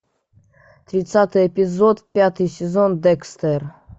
тридцатый эпизод пятый сезон декстер